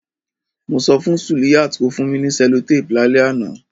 Mo so fun Suliyat ko fun mi ni cellotape lálẹ́ ánàn